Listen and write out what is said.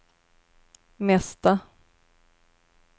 mesta